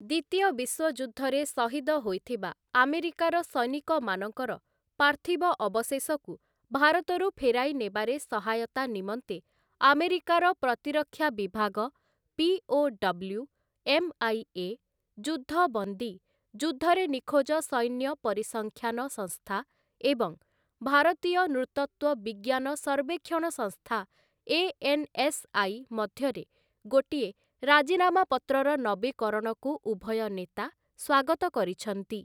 ଦ୍ୱିତୀୟ ବିଶ୍ୱଯୁଦ୍ଧରେ ଶହିଦ ହୋଇଥିବା ଆମେରିକାର ସୈନିକମାନଙ୍କର ପାର୍ଥିବ ଅବଶେଷକୁ ଭାରତରୁ ଫେରାଇ ନେବାରେ ସହାୟତା ନିମନ୍ତେ ଆମେରିକାର ପ୍ରତିରକ୍ଷା ବିଭାଗ, ପିଓଡବ୍ଲ୍ୟୁ, ଏମ୍‌ଆଇଏ, ଯୁଦ୍ଧବନ୍ଦୀ ଯୁଦ୍ଧରେ ନିଖୋଜ ସୈନ୍ୟ ପରିସଂଖ୍ୟାନ ସଂସ୍ଥା, ଏବଂ ଭାରତୀୟ ନୃତତ୍ୱ ବିଜ୍ଞାନ ସର୍ବେକ୍ଷଣ ସଂସ୍ଥା ଏଏନ୍‌ଏସ୍‌ଆଇ ମଧ୍ୟରେ ଗୋଟିଏ ରାଜିନାମାପତ୍ରର ନବୀକରଣକୁ ଉଭୟ ନେତା ସ୍ୱାଗତ କରିଛନ୍ତି ।